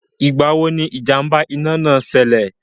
Ìgbà wo ni ìjàm̀bà iná náà ṣilẹ̀?